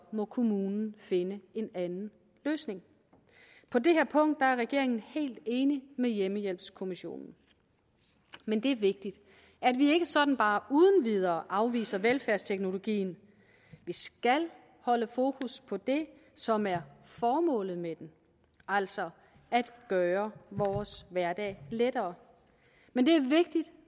må kommunen finde en anden løsning på det her punkt er regeringen helt enig med hjemmmehjælpskommissionen men det er vigtigt at vi ikke sådan bare uden videre afviser velfærdsteknologien vi skal holde fokus på det som er formålet med den altså at gøre vores hverdag lettere men det er vigtigt